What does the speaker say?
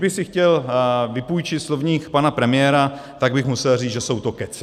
Kdybych si chtěl vypůjčit slovník pana premiéra, tak bych musel říct, že jsou to kecy.